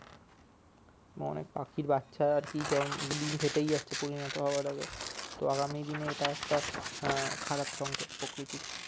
অনেক পাখির বাচ্ছাও আরকি জম ডিম্ ফেটেই যাচ্ছে পরিণত হবার আগে তো আগামী দিনে এটা একটা আহ খারাপ সংকেত প্রকৃতির